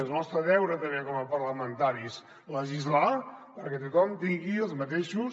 és el nostre deure també com a parlamentaris legislar perquè tothom tingui els mateixos